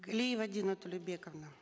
глиева дина толебековна